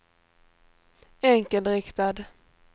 enkelriktad